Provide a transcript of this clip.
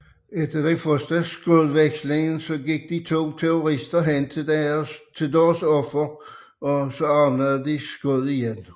Efter den første skudveksling gik de to terrorister hen til deres ofre og åbnede skud igen